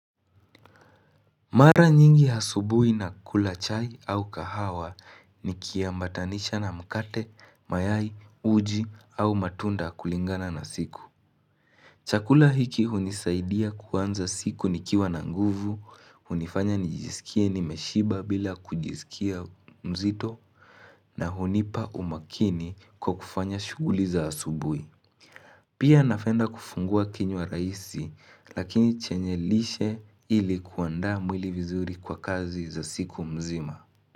Mara nyingi asubui na kulachai au kahawa ni kia mbatanisha na mkate, mayai, uji au matunda kulingana na siku. Chakula hiki hunisaidia kuanza siku nikiwa na nguvu, hunifanya nijisikie nimeshiba bila kujisikia mzito na hunipa umakini kwa kufanya shuguli za asubui. Pia nafenda kufungua kinywa raisi lakini chenye lishe ili kuandaa mwili vizuri kwa kazi za siku mzima.